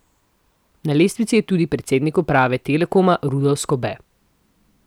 Na lestvici je tudi predsednik uprave Telekoma Rudolf Skobe.